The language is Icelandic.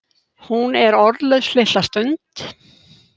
Hún er orðlaus litla stund.